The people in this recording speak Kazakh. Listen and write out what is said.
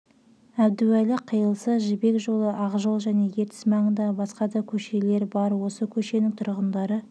әбдуәлі қиылысы жібек жолы ақжол және ертіс маңындағы басқа да көшелер бар осы көшенің тұрғындары